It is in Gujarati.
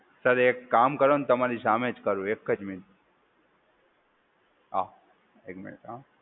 સર એક કામ કરો ને તમારી સામે જ કરું. એક જ મિનિટ. હા એક મિનિટ હા.